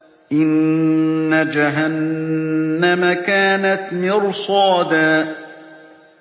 إِنَّ جَهَنَّمَ كَانَتْ مِرْصَادًا